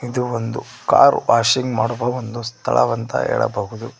ಇದು ಒಂದು car washing ಮಾಡುವ ಸ್ಥಳವ ಅಂತ ಹೇಳಬಹುದು.